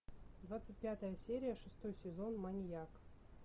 двадцать пятая серия шестой сезон маньяк